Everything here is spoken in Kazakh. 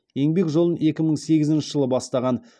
еңбек жолын екі мың сегізінші жылы бастаған